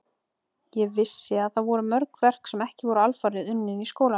Ég vissi að þar voru mörg verk sem ekki voru alfarið unnin í skólanum.